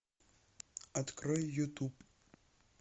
открой ютуб